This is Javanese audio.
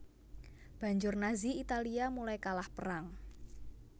Banjur Nazi Italia mulai kalah perang